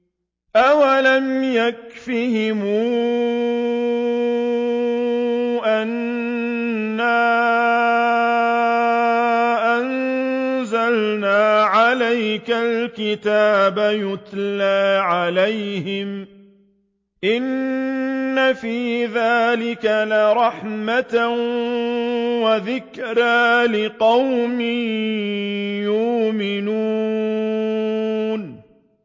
أَوَلَمْ يَكْفِهِمْ أَنَّا أَنزَلْنَا عَلَيْكَ الْكِتَابَ يُتْلَىٰ عَلَيْهِمْ ۚ إِنَّ فِي ذَٰلِكَ لَرَحْمَةً وَذِكْرَىٰ لِقَوْمٍ يُؤْمِنُونَ